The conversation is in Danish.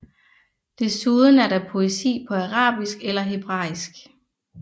Desuden er der poesi på arabisk eller hebraisk